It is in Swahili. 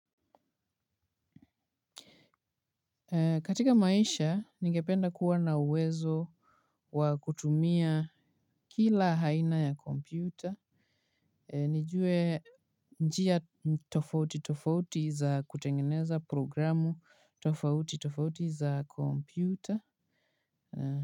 Katika maisha, nigependa kuwa na uwezo wa kutumia kila haina ya kompyuta. Nijue njia tofautitofauti za kutengeneza programu tofautitofauti za kompyuta.